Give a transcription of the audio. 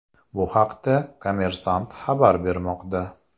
Bu haqda ”Kommersant” xabar bermoqda .